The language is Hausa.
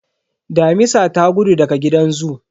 Damisa ta gudu daga gidan zoo